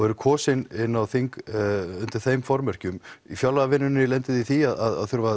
eruð kosin inn á þing undir þeim formerkjum í fjárlagavinnunni lendið þið í því að þurfa